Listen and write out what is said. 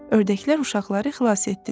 Ördəklər uşaqları xilas etdilər.